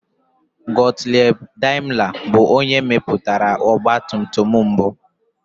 Gottlieb Daimler bụ onye mepụtara ọgbatumtum mbụ.